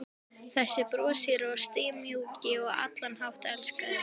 Þessi broshýri og stimamjúki og á allan hátt elskulegi maður!